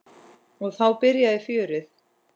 Og þá byrjaði fjörið.